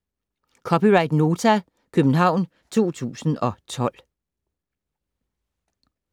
(c) Nota, København 2012